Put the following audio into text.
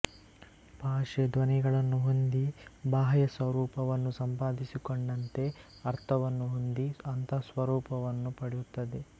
ಭಾಷೆ ಧ್ವನಿಗಳನ್ನು ಹೊಂದಿ ಬಾಹ್ಯ ಸ್ವರೂಪವನ್ನು ಸಂಪಾದಿಸಿಕೊಂಡಂತೆ ಅರ್ಥವನ್ನು ಹೊಂದಿ ಅಂತಃಸ್ವರೂಪವನ್ನು ಪಡೆಯುತ್ತದೆ